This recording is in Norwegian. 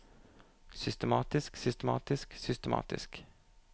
systematisk systematisk systematisk